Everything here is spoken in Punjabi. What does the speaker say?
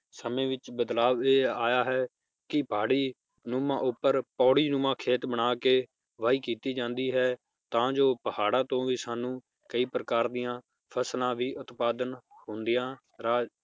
ਸਮੇ ਵਿਚ ਬਦਲਾਵ ਇਹ ਆਇਆ ਹੈ ਕਿ ਪਹਾੜੀ ਨੂੰਮਾਂ ਉਪਰ ਪੌੜੀ ਨੂੰਮਾਂ ਖੇਤ ਬਣਾ ਕੇ ਵਾਈ ਕੀਤਾ ਜਾਂਦੀ ਹੈ ਤਾਂ ਜੋ ਪਹਾੜਾਂ ਤੋਂ ਵੀ ਸਾਨੂੰ ਕਯੀ ਪ੍ਰਕਾਰ ਦੀਆਂ ਫਸਲਾਂ ਵੀ ਉਤਪਾਦਨ ਹੁੰਦੀਆਂ ਰਾ~